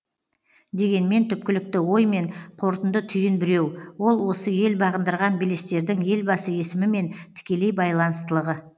дегенмен түпкілікті ой мен қорытынды түйін біреу ол осы ел бағындырған белестердің елбасы есімімен тікелей байланыстылығы